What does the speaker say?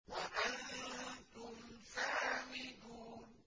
وَأَنتُمْ سَامِدُونَ